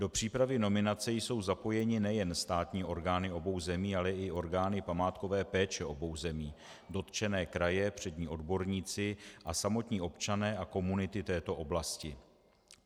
Do přípravy nominace jsou zapojeny nejen státní orgány obou zemí, ale i orgány památkové péče obou zemí, dotčené kraje, přední odborníci a samotní občané a komunity této oblasti.